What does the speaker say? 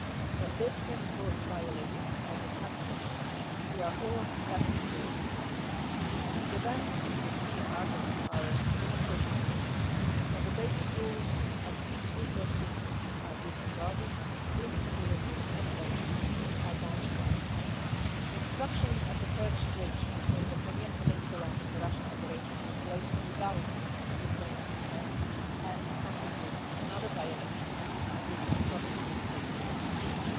When this principle is violated, as it has been, we are all less secure in our continent and the events in the Sea of Azov are a demonstration of this. When the basic rules of peaceful coexistence are disregarded, instability and tensions are bound to rise. The construction of the Kerch Bridge between the Crimean Peninsula and the Russian Federation took place without Ukraine's consent and it constitutes another violation of Ukraine's sovereignty and territorial integrity.